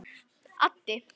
Addi